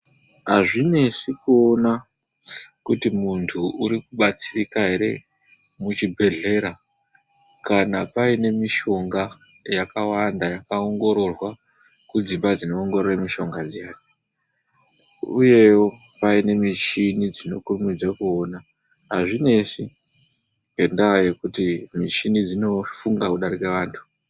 Azvinesi kuona kuti muntu uri kubatsirika ere muchibhedhlera kana paine mishonga yakawanda yakaongororwa kudzimba dzinoongorora mishonga dziya, uyewo paine michini dzinokurumidza kuona azvinesi ngendaa yekuti michini dzinofunga kudarika vanhu.